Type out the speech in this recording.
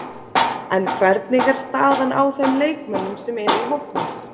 En hvernig er staðan á þeim leikmönnum sem eru í hópnum?